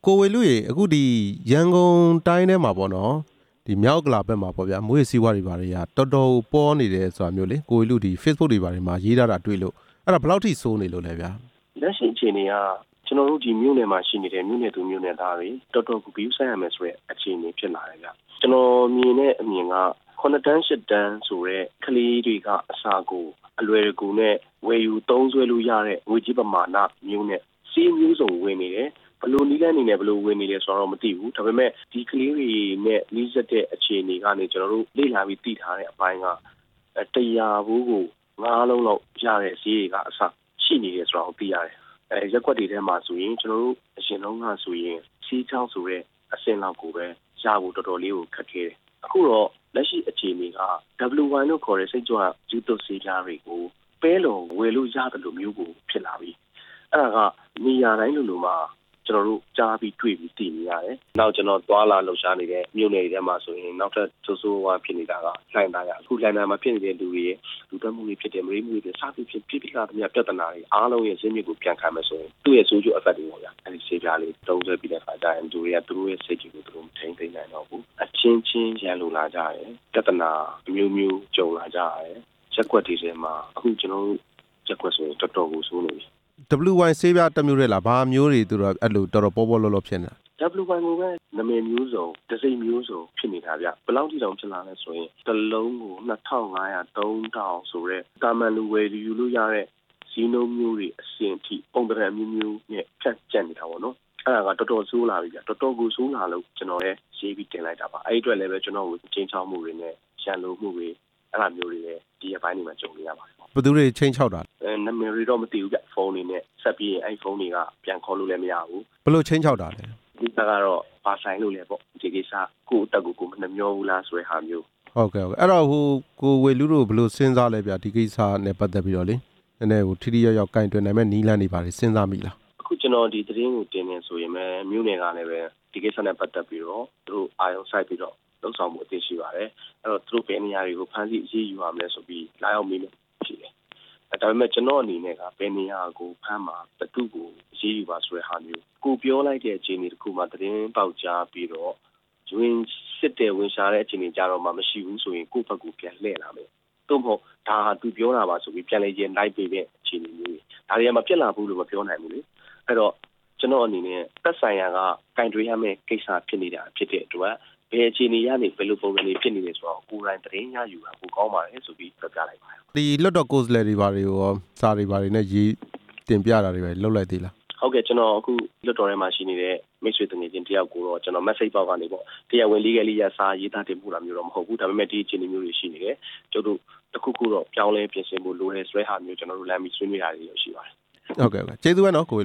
ိုဝေဠုရေ အခုရန်ကုန်တိုင်းထဲမှာပေါ့နော် မြောက်ဥက္ကလာထဲမှာပေါ့ဗျာ မူးယစ်ဆေးဝါးတွေ က တော်တော်ကို ပေါနေတယ်ဆိုတာကို ကိုဝေဠု Face Book တွေပေါ်မှာရေးထားတာ တွေ့လို့ အဲ့ဒါဘယ်လောက်ထိ ဆိုးနေလို့လဲဗျာ။ လက်ရှိအခြေအနေက ကျနော်တို့ဒီမြို့နယ်မှာရှိနေတဲ့ မြို့နယ်သူ၊ မြို့နယ်သားတွေ တော်တော်ကို ဂရုစိုက်ရမယ်ဆိုတဲ့ အခြေအနေဖြစ်လာတယ်ဗျ၊ ကျနော်မြင်တဲ့ အမြင်က ၇တန်း၊ ၈တန်း ဆိုတဲ့ ကလေးတွေကအစ အလွယ်တကူနဲ့ ဝယ်ယူသုံးစွဲလို့ရတဲ့ ငွေကြေးပမာဏနှုန်းနဲ့ ဆေးမျိုးစုံကိုဝယ်နေတယ်၊ ဘယ်လိုနည်မျိုးစုံနဲ့ ဘယ်လို ဝယ်နေတယ်ဆိုတာကိုတော့ မသိဘူး ဒါပေမယ့် ဒီကလေးတွေနဲ့ နီးစပ်တဲ့အခြေအနေကနေ ကျနော်တို့ လေ့လာ ပြီးသိထားတဲ့ အပိုင်းက တစ်ရာဖိုးကို ၅ လုံးလောက်ရတဲ့ေဆေးတွေကအစ ရှိနေတယ်ဆိုတာကို ကျနော်တို့သိထား တယ်၊ ရပ်ကွက်တွေထဲမှာဆိုရင် ကျနော်တို့အရင်တုန်း ကဆိုရင် ဆေးခြောက်ဆိုတဲ့ အဆင့်လောက်ကိုပဲရ ဖို့ တော်တော်လေး ကို ခက်ခဲတယ်၊ အခုတော့ လက်ရှိအခြေအနေက WY လို့ခေါ်တဲ့ စိတ်ကြွမူးယစ်ဆေး ဝါးတွေကို ပဲလှော်ဝယ်လို့ရသလိုမျိုးကို ဖြစ်လာပြီ၊ အဲ့ဒါကနေရာတိုင်းလိုလိုမှာ ကျနော်တို့ကြားသိ၊ မြင်နေရတယ်၊ နောက်ကျနော် သွားလာလှုပ်ရှားနေတဲ့ မြို့နယ်တွေထဲမှာဆိုရင် နောက်ထပ်ဆိုးဆိုးဝါးဝါးဖြစ်နေတာက လှိုင်သာယာ၊ အခုလှိုင်သာယာ မှာ ဖြစ်နေတဲ့ လူတွေရဲ့ လူသတ်မှုတွေဖြစ်တယ်၊ မုဒိန်းမှုတွေဖြစ်တယ်၊ စသည်ဖြင့် ဖြစ်ပြီးသားပြဿနာတွေရဲ့ ဇစ်မြစ် ဟာဆိုရင် သူရဲ့ဆိုးကျိုးတွေပေါ့ဗျာ အဲ့ဒီဆေးပြားလေးတွေ သုံးစွဲပြီးတဲ့အခါကျရင် လူတွေကသူတို့ရဲ့စိတ်တွေကို မထိန်း သိမ်းနိုင်တော့ဘူး၊ အချင်းချင်းရန်လိုလာကြတယ်၊ ပြဿနာ အမျိုးမျိုးကြုံလာကြရတယ်၊ ရပ်ကွက်တွေထဲမှာ အခု ကျနော်တို့ ရပ်ကွက်တွေထဲမှာဆိုရင် တော်တော်ကိုဆိုးနေပြီ၊ WY ဆေးပြားတစ်မျိုးထဲလား၊ ဘာအမျိုးတွေ သူတို့က တော်တော်ပေါပေါလောလောဖြန့်လဲ WY ကိုပဲနာမည်မျိုးစုံ၊ တံဆိပ်မျိုးစုံဖြစ်နေတာဗျ၊ ဘယ်လောက်ထိအောင်ဖြစ်လာလဲဆိုရင် ၁ လုံးကို ၂၅၀၀၊ ၃၀၀၀ ဆိုတဲ့ သာမန်လူဝယ်လို့ရတဲ့ ဈေးနှုန်းမျိုးတွေအဆင့်ထိ ပုံစံအမျိုးမျိုးနဲ့ ဖြန့်ကျက်နေတာပေါ့နော်၊ အဲ့ဒါက တော်တော်ဆိုးလာပြီဗျ၊ တော်တော်ကို့ ဆိုးလာလို့ ကျနော်လဲရေးပြီးတင်လိုက်တာပါ၊ အဲ့ဒီအတွက်လဲ ကျနော့်ကို ခြိမ်းခြောက်မှုတွေနဲ့ ရန်လိုမှုတွေ အဲ့ဒါမျိုးတွေလဲ ဒီရက်ပိုင်းတွေမှာ ကြုံတွေ့ရပါတယ်။ ဘယ်သူတွေခြိမ်းခြောက်တာလဲ အဲနာမည်တွေတော့ မသိဘူးဗျ၊ ဖုန်းတွေနဲ့ ဆက်ပြီးရင် အဲ့ဖုန်းတွေက ပြန်ခေါ်လို့လဲမရဘူး၊ ဘယ်လိုခြိမ်းခြောက်တာလဲ အဓိက ကတော့ ခင်ဗျားနဲ့ ဘာဆိုင်လို့လဲပေါ့ ဒီကိစ္စ၊ ကိုယ့်အသက်ကို မနှမြောဘူးလား၊ ဆိုတဲ့ဟာမျိုး ဟုတ်ကဲ့၊ အဲ့တော့ ကိုဝေဠု တို့ဘယ်လိုစဉ်းစားလဲဗျ၊ ဒီကိစ္စနဲ့ ပတ်သက်ပြီးတော့လေ၊ နဲနဲ ထိထိရောက်ရောက် ကိုင်တွယ်နိုင်မယ့် နည်းလမ်းတွေစဉ်းစားမိလား အခု ကျနော်ဒီသတင်းကိုတင်တယ်ဆိုရင်ပဲ မြို့နယ်ကလည်းပဲ သူတို့ဒီကိစ္စနဲ့ ပတ်သက်ပြီးတော့ အာရုံစိုက်ပြီးတော့လုပ်ဆောင်ဖို့ အသင့်ရှိပါတယ်၊ သူတို့ဘယ်နေရာတွေကို ဖမ်းဆီးအရေးယူရမလဲဆိုပြီး လာရောက်မေးမြန်းပါတယ်၊ ဒါပေမယ့် ကျနော့်အနေနဲ့က ဘယ်နေရာကိုဖမ်းပါ၊ ဘယ်သူ့ကိုအရေးယူပါဆိုတဲ့ ဟာမျိုး၊ ကိုယ်ပြောလိုက်တဲ့ အခြေအနေတစ်ခုမှာ သတင်းပေါက်ကြားပြီးတော့ ဝင်စစ်တဲ့၊ ဝင်ရှာတဲ့ အခြေအနေကျတော့မှ မရှိဘူးဆိုရင် ကိုယ့်ဘက်ကိုပြန်လှည့်လာမယ်၊ သို့မဟုတ် ဒါဟာသူပြောတာပါဆိုပြီး ပြန်လည်ရန်တိုက်ပေးတဲ့ အခြေအနေတွေမျိုးတွေ ဒါတွေဟာမဖြစ်လာနိုင်ဘူးလို့ မပြောနိုင်ဘူးလေ အဲ့တော့ ကျနော်အနေနဲ့ သက်ဆိုင်ရာက ကိုင်တွယ်ရမယ့် ကိစ္စဖြစ်နေတာဖြစ်တဲ့အတွက် ဘယ်အခြေအနေကနေ ဘယ်လိုပုံစံတွေဖြစ်နေတယ်ဆိုတာကိုတော့ ကိုယ်တိုင်သတင်းရယူတာပိုကောင်းပါတယ် ဆိုပြီးပြောပြလိုက်ပါတယ်၊ လွှတ်တော်ကိုယ်စားလှယ်တွေ ဘာတွေရော စာတွေဘာတွေရေးပြီးတင်ပြတာမျိုးတွေ လုပ်လိုက်သေးလား ဟုတ်ကဲ့အခု ကျနော် လွှတ်တော်ထဲမှာ ရှိနေတဲ့ မိတ်ဆွေ သူငယ်ချင်းတစ်ယောက်ကိုတော့ message box ကနေ၊ တရားဝင်နည်းနဲ့ အရ စာတွေဘာတွေ ရေးသားတင်ပို့တာမဟုတ်ဘူး၊ ဒါပေမယ့် ဒီအခြေအနေမျိုးတွေရှိနေတယ်၊ ကျွနု်ပ်တို့ တစ်ခုခုတော့ပြောင်းလဲ ပြင်ဆင်ဖို့ လိုတယ်ဆိုတဲ့ ဟာမျိုးတော့ ကျနော်တို့လှမ်းပြီးဆွေးနွေးတာတော့ရှိပါတယ်။ ဟုတ်ကဲ့၊ ဟုတ်ကဲ့ ကျေးဇူးပဲနော် ကိုဝေ